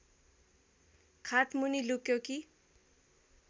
खाटमुनि लुक्यो कि